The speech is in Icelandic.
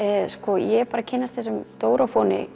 ég er bara að kynnast þessum